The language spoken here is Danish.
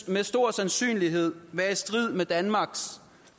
med stor sandsynlighed være i strid med danmarks